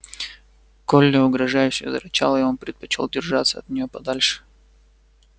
колли угрожающе зарычала и он предпочёл держаться от нее подальше